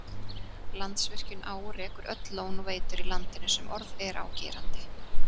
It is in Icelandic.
Landsvirkjun á og rekur öll lón og veitur í landinu sem orð er á gerandi.